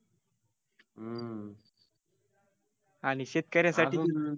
आणि शेतक-यासाठी अजून